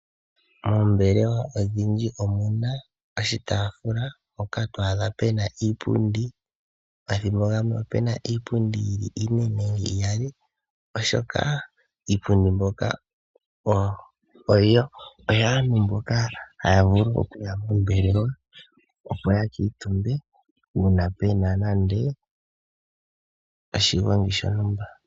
Moombelewa odhindji omuna oshitafula mpoka twaadha pena iipundi. Omathimbo gamwe opuna iipundi yili ine nenge iyali, oshoka iipundi mbyoka oyaantu mboka haya vulu okuya kombelewa opo ya kiitumbe, uuna pena nande oshigongi shontumba.